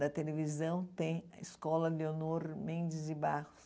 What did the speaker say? da televisão tem a Escola Leonor Mendes de Barros.